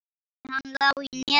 Nei, hann lá í netinu.